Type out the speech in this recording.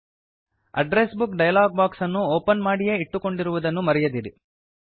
address book dialog box ಅನ್ನು open ಮಾಡಿಯೇ ಇಟ್ಟುಕೊಂಡಿರುವುದನ್ನು ಮರೆಯದಿರಿ